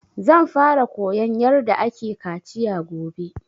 Zan fara koyan yarda ake kaciya gobe